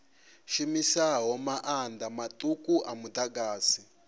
shumisaho maanḓa maṱuku a muḓagasi